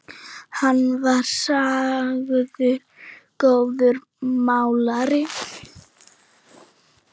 Hann var sagður góður málari.